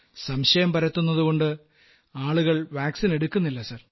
സംശയം പരത്തുന്നതുകൊണ്ട് ആളുകൾ വാക്സിൻ എടുക്കുന്നില്ല സർ